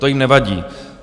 To jim nevadí.